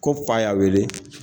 Ko fa y'a wele